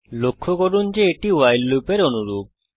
লক্ষ্য করুন যে এটি ভাইল লুপের অনুরূপ